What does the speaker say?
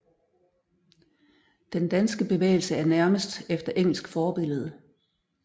Den danske bevægelse er nærmest efter engelsk forbillede